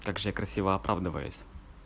как же я красиво оправдываюсь